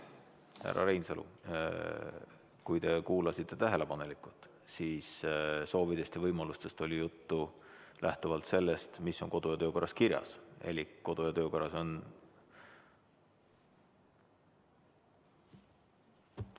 Härra Reinsalu, kui te kuulasite tähelepanelikult, siis soovidest ja võimalustest oli juttu lähtuvalt sellest, mis on kodu- ja töökorras kirjas, elik kodu- ja töökorras on ...